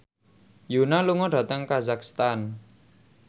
Yoona lunga dhateng kazakhstan